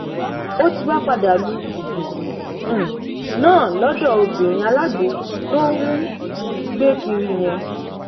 ó ti wáá padà lu gúngún um náà lọdọ obìnrin alágbó tó ń um gbé kiri yẹn